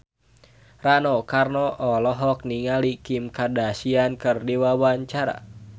Rano Karno olohok ningali Kim Kardashian keur diwawancara